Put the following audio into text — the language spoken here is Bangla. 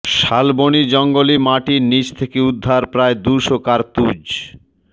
শালবনির জঙ্গলে মাটির নীচ থেকে উদ্ধার প্রায় দুশো কার্তুজ